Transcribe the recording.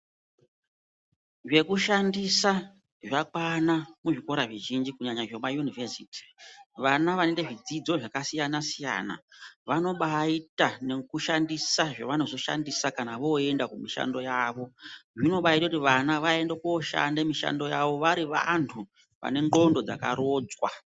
Zvekushandisa zvakwana muzvikora zvizhinji kunyanya zvekuma univhesiti vana vanoite zvidzidzo zvakasiyana siyana vanobaaita nekushandisa zvevanozoshandisa kana voenda kumishando yavo zvinobaaita kuti vana vaende kunishando yavo vari vantu vane ndxondo dzakarodzwa.